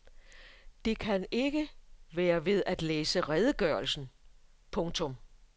Det kan ikke være ved at læse redegørelsen. punktum